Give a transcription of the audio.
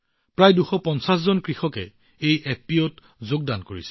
প্ৰায় ২৫০ জন কৃষকে এই এফপিঅত যোগদান কৰিছে